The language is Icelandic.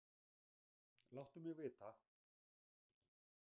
Láttu mig vita.